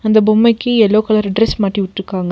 இந்த பொம்மைக்கு yellow colour dress மாட்டி வுட்ருக்காங்க.